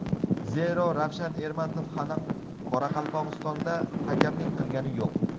Zero, Ravshan Ermatov hali Qoraqalpog‘istonda hakamlik qilgani yo‘q.